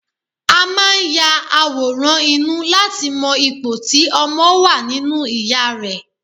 A máa ń ya àwòrán inú láti mọ ipò tí ọmọ wà nínú ìya rẹ̀